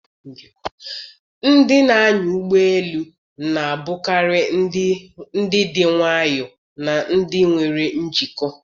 Ndị na-anya ụgbọ elu na-abụkarị ndị dị nwayọọ na ndị nwere njikọ.